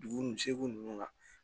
Dugu ni seegu nunnu na